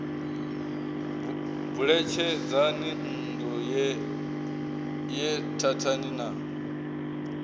buletshedzani nṋdu ye thathani na